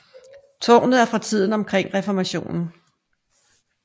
Tårnet er fra tiden omkring reformationen